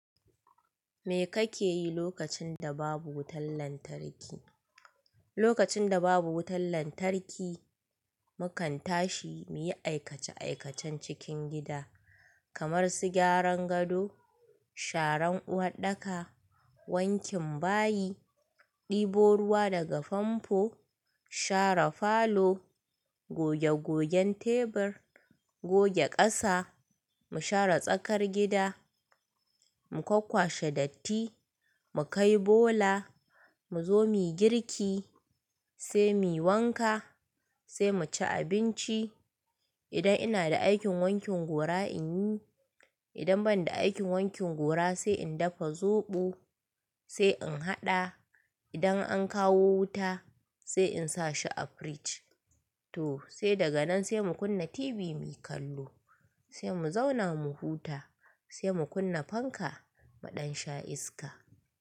Me kake yi lokacin da babu wutan lantarki? Lokacin da babu wutan lantarki, mukan tashi muyi aikace-aikacen cikin gida kamar su gyaran gado, sharan uwaɗɗaka, wankin bayi, ɗebo ruwa daga famfo, share falo, goge gogen tebur, goge ƙasa, mu share tsakar gida, mu kwakkwashe datti, mu kai bola, mu zo muyi girki sai muyi wanka sai mu ci abinci. Idan ina da aikin wankin gora in yi, idan ban da aikin wankin gora sai in dafa zoɓo sai in haɗa. Idan an kawo wuta sai in sa shi a fridge. To sai daga nan sai mu kunna TV muyi kallo, sai mu zauna mu huta, sai mu kunna fanka muɗan sha iska.